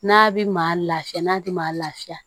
N'a bɛ maa lafiya n'a tɛ maa lafiya